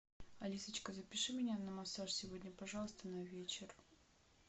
алисочка запиши меня на массаж сегодня пожалуйста на вечер